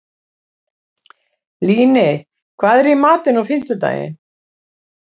Líney, hvað er í matinn á fimmtudaginn?